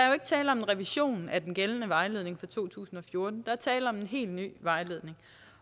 jo ikke tale om en revision af den gældende vejledning fra to tusind og fjorten der er tale om en helt ny vejledning